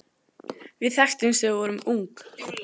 Við þekktumst þegar við vorum ung.